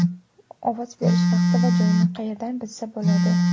Ovoz berish vaqti va joyini qayerdan bilsa bo‘ladi?